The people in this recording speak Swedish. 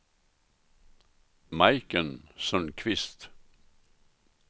Majken Sundqvist